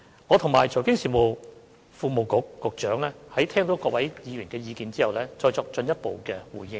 我和財經事務及庫務局局長會在聆聽各位議員的意見後，再作進一步回應。